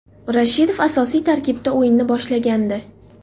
Rashidov asosiy tarkibda o‘yinni boshlagandi.